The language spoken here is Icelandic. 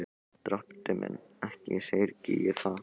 Drottinn minn, ekki syrgi ég það.